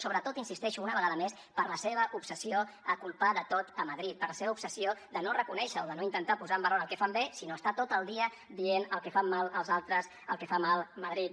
sobretot hi insisteixo una vegada més per la seva obsessió a culpar de tot a madrid per la seva obsessió de no reconèixer o de no intentar posar en valor el que fan bé sinó estar tot el dia dient el que fan malament els altres el que fa malament madrid